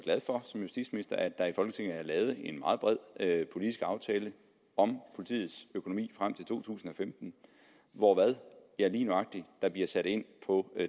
som justitsminister at der i folketinget er lavet en meget bred politisk aftale om politiets økonomi frem til to tusind og femten hvor der lige nøjagtig bliver sat ind på